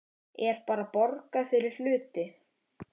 Er bara borgað fyrir hluti?